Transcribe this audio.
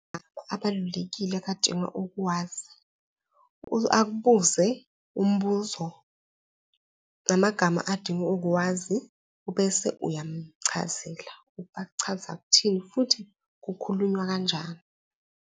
Abalulekile akadinga ukwazi. Akubuze umbuzo namagama adinga ukukwazi ubese uyamchazela ukuba achaza ukuthini futhi kukhulunywa kanjani.